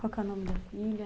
Qual que é o nome da filha?